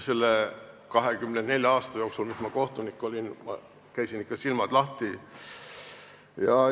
Selle 24 aasta jooksul, kui ma kohtunik olin, käisin ikka, silmad lahti.